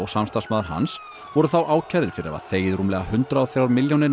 samstarfsmaður hans voru þá ákærðir fyrir að hafa þegið rúmlega hundrað og þrjár milljónir